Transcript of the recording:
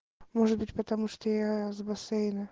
может быть потому что я с бассейна